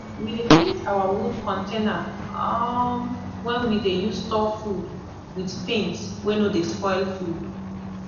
we dey paint our wood container um wen we dey use store food with paint wey no dey spoil food